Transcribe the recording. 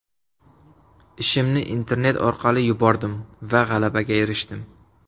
Ishimni internet orqali yubordim va g‘alabaga erishdim.